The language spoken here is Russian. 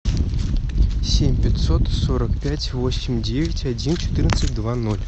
семь пятьсот сорок пять восемь девять один четырнадцать два ноль